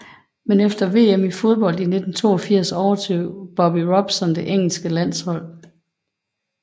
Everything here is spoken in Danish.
Men efter VM i fodbold 1982 overtog Bobby Robson det engelske landshold